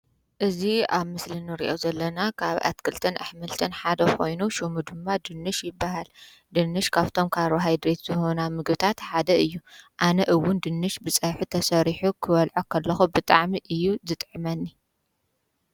እዚ አብ ምስሊ እንሪኦ ዘለና ካብ ኣትክልትን ኣሕምልትን ሐደ ኮይኑ ሽሙ ድማ ድንሽ ይበሃል። ድንሽ ካፍቶም ካርቦሃይድሬት ዝህቡና ምግብታት ሐደ እዩ። አነ እዉን ድንሽ ብፀብሒ ተሰሪሑ ክበልዖ ኸለኩ ብጣዕሚ እዩ ዝጥዕመኒ።